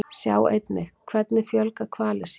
Sjá einnig: Hvernig fjölga hvalir sér?